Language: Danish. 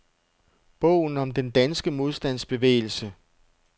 Bogen om den danske modstandsbevægelse.